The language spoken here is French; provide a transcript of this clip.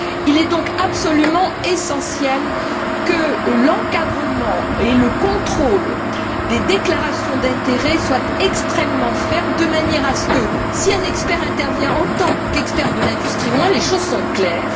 Il est donc absolument essentiel que l'encadrement et le contrôle des déclarations d'intérêt soient extrêmement fermes de manière à ce que si un expert intervient en tant qu'expert de l'industrie, au moins les choses soient claires.